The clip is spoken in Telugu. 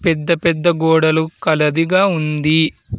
పెద్ద పెద్ద గోడలు కలదిగా ఉంది.